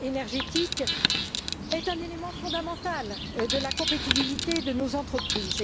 énergétique est un élément fondamental de la compétitivité de nos entreprises.